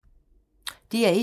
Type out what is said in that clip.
DR1